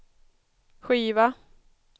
skiva